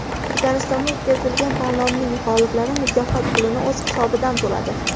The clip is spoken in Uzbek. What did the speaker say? Turkmanistonda o‘tkazilgan tanlovning g‘oliblari mukofot pulini o‘z hisobidan to‘ladi.